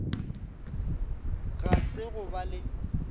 ga se go ba le